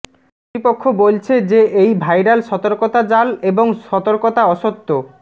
কর্তৃপক্ষ বলছে যে এই ভাইরাল সতর্কতা জাল এবং সতর্কতা অসত্য